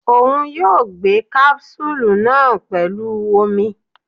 Oun yoo gbemí capsule naa pẹlu omi